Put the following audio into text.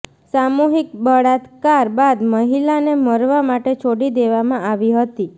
સામૂહિક બળાત્કાર બાદ મહિલાને મરવા માટે છોડી દેવામાં આવી હતી